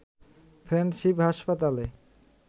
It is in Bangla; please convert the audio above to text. ফ্রেন্ডশিপ হাসপাতালে